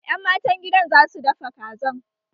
Ƴan matan gidan za su dafa Kazan